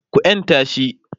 ku yanta shi!